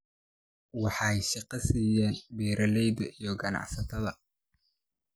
waxay shaqo siiyaan beeralayda iyo ganacsatada.